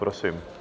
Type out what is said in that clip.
Prosím.